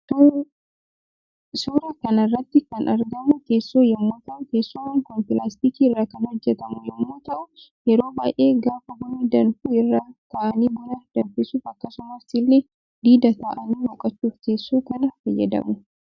Suuraa kanarratti kan argamu teessoo yommuu ta'u teessoon Kun pilaastikii irra kan hojjetamu yommuu ta'uu yeroo baay'ee gaafa bunni danfu irra taa'anii buna danfisuuf akkasumas ille diida ta'ani boqochuuf teessoo kana fayyadamu.